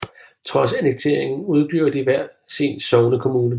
Trods annekteringen udgjorde de hver sin sognekommune